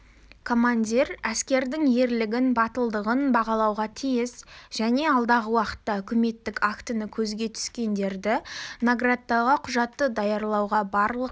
командир әскердің ерлігін батылдығын бағалауға тиіс және алдағы уақытта үкіметтік актіні көзге түскендерді наградтауға құжатты даярлауға барлық